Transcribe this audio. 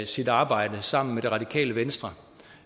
sit arbejde sammen med det radikale venstre